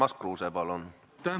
Urmas Kruuse, palun!